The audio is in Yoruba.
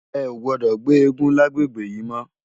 È ó gbòdò gbé égùn làgbégbé yi mò